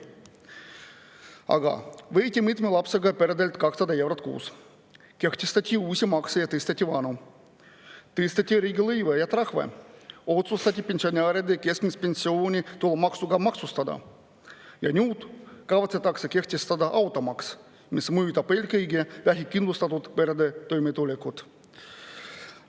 Aga võeti mitme lapsega peredelt 200 eurot kuus, kehtestati uusi makse ja tõsteti vanu, tõsteti riigilõive ja trahve, otsustati pensionäride keskmine pension tulumaksuga maksustada ja nüüd kavatsetakse kehtestada automaks, mis mõjutab eelkõige vähekindlustatud perede toimetulekut.